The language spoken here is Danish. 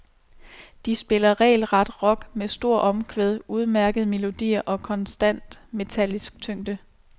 De spiller regelret rock med store omkvæd, udmærkede melodier og konstant metallisk tyngde.